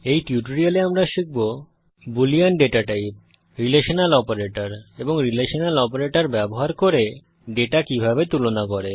এই টিউটোরিয়ালে আমরা শিখব boolean data type relational operator এবং রিলেশনাল অপারেটর ব্যবহার করে ডেটা কিভাবে তুলনা করে